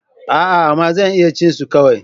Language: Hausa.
A'a! amma zan iya cin su kawai.